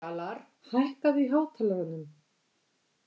Fjalarr, hækkaðu í hátalaranum.